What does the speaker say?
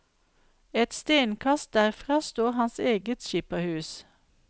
Et stenkast derfra står hans eget skipperhus.